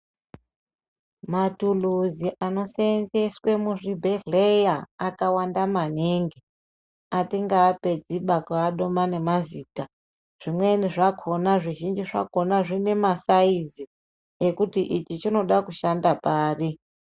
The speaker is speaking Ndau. Matuluzi anoseenzeswe muzvibhehleya akawanda maningi atingaapedzi ba kuadoma ngemazita zvimweni zvakona zvizhinji zvakona zvine masayizi ekuti ichi chinoda kushanda pari.